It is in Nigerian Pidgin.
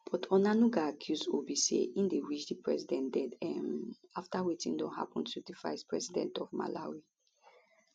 but onanuga accuse obi say e dey wish di president dead um afta wetin don happen to di vice president of malawi